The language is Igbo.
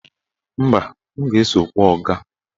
Mba, m ga-eso kpọọ ọga.